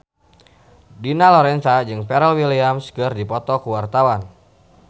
Dina Lorenza jeung Pharrell Williams keur dipoto ku wartawan